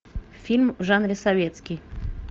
фильм в жанре советский